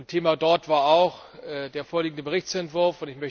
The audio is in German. Thema dort war auch der vorliegende Berichtsentwurf.